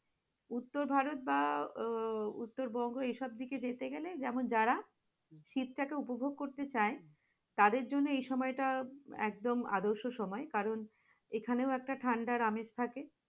উত্তর ভারত বা উত্তরবঙ্গ এইসব দিকে যেতে গেলে যেমন, যারা শীতটাকে উপভোগ করতে চাই তাদের জন্য এই সময়টা একদম আদর্শ সময় কারণ, এখানেও একটা ঠান্ডার আমেজ থাকে।